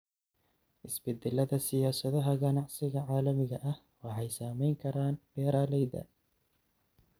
Isbeddellada siyaasadaha ganacsiga caalamiga ah waxay saamayn karaan beeralayda.